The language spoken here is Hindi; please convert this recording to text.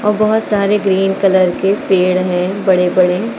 और बहोत सारे ग्रीन कलर के पेड़ है बड़े-बड़े --